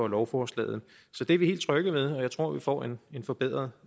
lovforslaget så det er vi helt trygge ved og jeg tror vi får en en forbedret